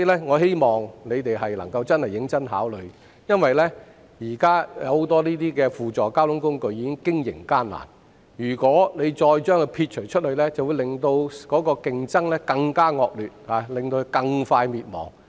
我希望政府能夠認真考慮，因為現時很多輔助交通工具面臨經營困難，如果把它們撇除，便會令競爭更惡劣，它們會更快倒閉。